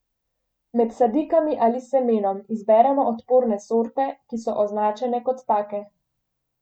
Med sadikami ali semenom izberemo odporne sorte, ki so označene kot take.